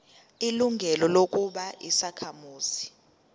ilungelo lokuba yisakhamuzi